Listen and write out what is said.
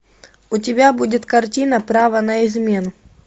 у тебя будет картина право на измену